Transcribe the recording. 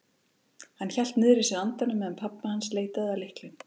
Hann hélt niðri í sér andanum meðan pabbi hans leitaði að lyklinum.